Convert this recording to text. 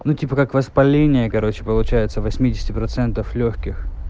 ну типа как воспаление короче получается восьмидесяти процентов лёгких